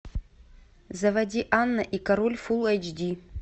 заводи анна и король фулл эйч ди